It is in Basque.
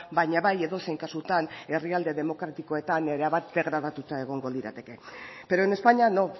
baina bai edozein kasutan herrialde demokratikoetan erabat degradatuta egongo lirateke pero en españa no